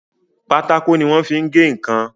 Pátákó tí wọ́n fi ń gé ǹkan